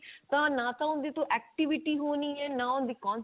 ਤਾਂ ਨਾਂ ਤਾਂ ਉਹਦੇ ਤੋਂ activity ਹੋਣੀ ਹੈ ਨਾ ਉਹ cons